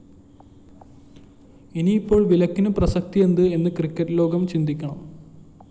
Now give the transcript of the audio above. ഇനിയിപ്പോള്‍ വിലക്കിന് പ്രസക്തിയെന്ത് എന്ന് ക്രിക്കറ്റ്‌ ലോകം ചിന്തിക്കണം